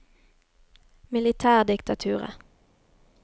militærdiktaturet